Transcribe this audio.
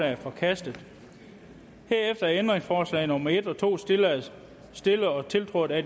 er forkastet herefter er ændringsforslag nummer en og to stillet stillet og tiltrådt af